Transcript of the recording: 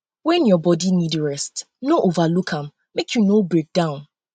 when your um body need rest rest no overlook am make you no breakdown